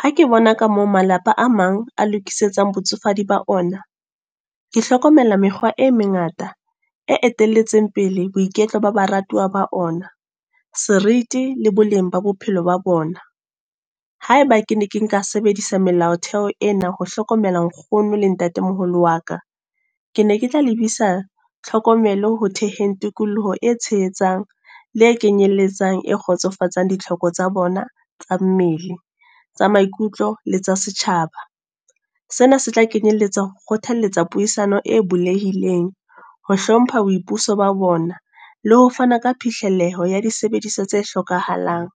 Ha ke bona ka moo malapa a mang a lokisetsang botsofadi ba ona. Ke hlokomela mekgwa e mengata, e etelletseng pele boiketlo ba baratuwa ba ona. Seriti le boleng ba bophelo ba bona. Haeba ke ne ke nka sebedisa melaotheo ena, ho hlokomela nkgono le ntatemoholo wa ka. Ke ne ke tla lebisa tlhokomelo ho theheng tikoloho e tshehetsang, le e kenyelletsang e kgotsofatsang ditlhoko tsa bona tsa mmele, tsa maikutlo le tsa setjhaba. Sena se tla kenyeletsa ho kgothalletsa puisano e bulehileng. Ho hlompha boipuso ba bona. Le ho fana ka fihlelleho ho ya di sebediswa tse hlokahalang.